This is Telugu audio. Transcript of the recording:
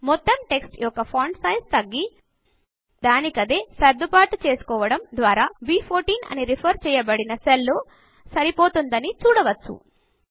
మోతము టెక్స్ట్ యొక్క ఫాంట్ సైజు తగ్గి దానికదే సర్దుబాటు చేసుకోవడం ద్వారా బ్14 అని రిఫర్ చేయబడిన సెల్ లో సరిపోతుందని చూడవచ్చు